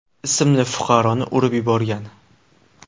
ismli fuqaroni urib yuborgan.